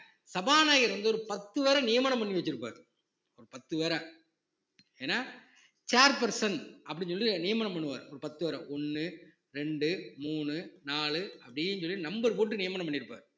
சபாநாயகர் வந்து ஒரு பத்து பேரை நியமனம் பண்ணி வச்சிருப்பாரு ஒரு பத்து பேரை ஏன்னா chair person அப்படின்னு சொல்லி நியமனம் பண்ணுவாரு ஒரு பத்து பேரை ஒண்ணு ரெண்டு மூணு நாலு அப்படின்னு சொல்லி number போட்டு நியமனம் பண்ணிருப்பார்